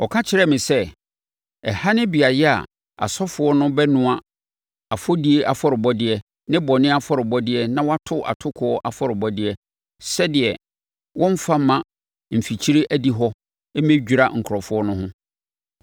Ɔka kyerɛɛ me sɛ: “Ɛha ne beaeɛ a asɔfoɔ no bɛnoa afɔdie afɔrebɔdeɛ ne bɔne afɔrebɔdeɛ na wɔato atokoɔ afɔrebɔdeɛ, sɛdeɛ wɔremfa mma mfikyire adihɔ hɔ mmɛdwira nkurɔfoɔ no ho.”